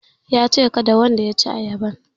Yace kada wanda ya ci ayaban